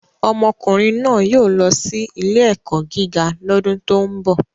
Ọmọkùnrin náà yóò lọ sí ilé-ẹ̀kọ́ gíga lọ́dún tó ń bọ̀.